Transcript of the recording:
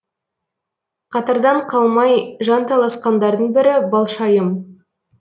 қатардан қалмай жанталасқандардың бірі балшайым